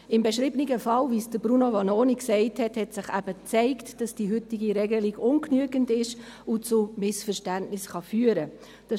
Im beschriebenen Fall, wie von Bruno Vanoni erwähnt, hat sich eben gezeigt, dass die heutige Regelung ungenügend ist und zu Missverständnissen führen kann.